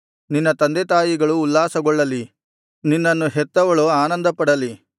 ನಿನ್ನ ತಂದೆತಾಯಿಗಳು ಉಲ್ಲಾಸಗೊಳ್ಳಲಿ ನಿನ್ನನ್ನು ಹೆತ್ತವಳು ಆನಂದಪಡಲಿ